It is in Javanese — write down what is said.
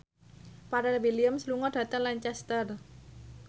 Pharrell Williams lunga dhateng Lancaster